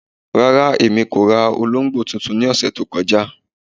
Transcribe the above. Rárá, èmi kò rà òlógbò tuntun ni ọṣẹ tó kọja.